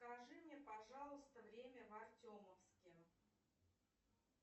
скажи мне пожалуйста время в артемовске